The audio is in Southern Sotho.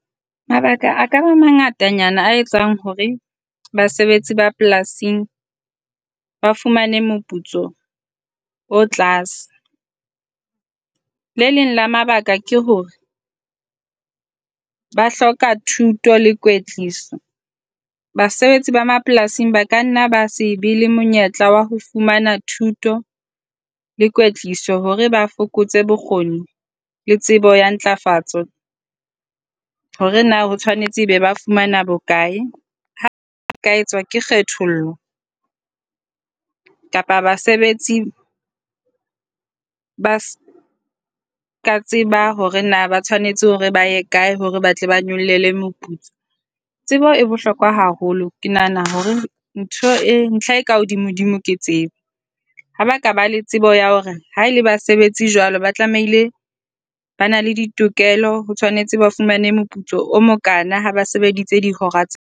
Mabaka a ka mangatanyana a etsang hore basebetsi ba polasing ba fumane moputso o tlase. Le leng la mabaka ke hore ba hloka thuto le kwetliso, basebetsi ba mapolasing ba kanna ba se be le monyetla wa ho fumana thuto le kwetliso hore ba fokotse bokgoni le tsebo ya ntlafatso hore na o tshwanetse ebe ba fumana bokae. Hape ba ka etswa ke kgethollo kapa basebetsi ba seka tseba hore na ba tshwanetse hore ba ye kae hore ba tle ba nyollelwe moputso. Tsebo e bohlokwa haholo. Ke nahana hore ntho e ntlha e ka hodimodimo ke tsebo. Ha ba ka ba le tsebo ya hore ha e le basebetsi jwalo, ba tlamehile ba na le ditokelo, ho tshwanetse ba fumane moputso o mokaana ha ba sebeditse dihora tse .